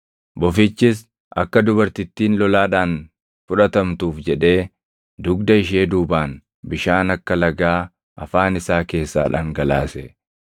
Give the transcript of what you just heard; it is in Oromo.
Bofichis akka dubartittiin lolaadhaan fudhatamtuuf jedhee dugda ishee duubaan bishaan akka lagaa afaan isaa keessaa dhangalaase.